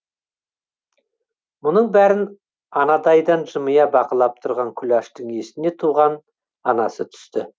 мұның бәрін анадайдан жымия бақылап тұрған күләштің есіне туған анасы түсті